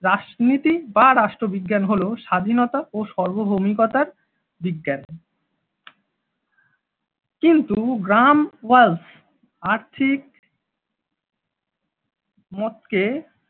রাজনীতি বা রাষ্ট্রবিজ্ঞান হল স্বাধীনতা ও সার্বভৌমিকতার বিজ্ঞান। কিন্তু গ্রামওয়ালস আর্থিক মতকে